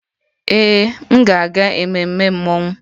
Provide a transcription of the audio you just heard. Ee, m ga-aga ememme mmọnwụ